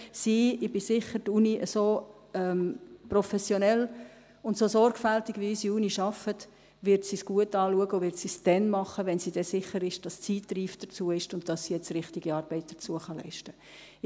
Ich bin sicher, so professionell und so sorgfältig wie unsere Uni arbeitet, wird sie es gut anschauen und wird es dann machen, wenn sie sich sicher ist, dass die Zeit reif dafür, und dass sie jetzt richtige Arbeit dafür leisten kann.